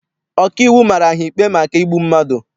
Ọkaiwu mara ha ikpe maka igbu mmadụ.